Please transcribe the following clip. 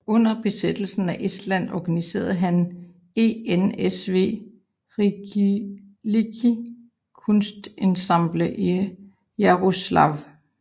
Under besættelsen af Estland organiserede han ENSV Riiklike Kunstiansambel i Jaroslavl